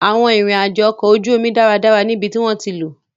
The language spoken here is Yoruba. Awọn irin-ajo ọkọ oju omi jẹ daradara ni ibiti wọn ti lo